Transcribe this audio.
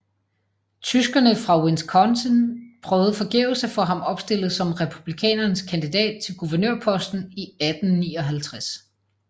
Tyskerne fra Wisconsin prøvede forgæves at få ham opstillet som Republikanernes kandidat til guvernørposten i 1859